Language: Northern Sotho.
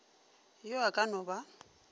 yo a ka no ba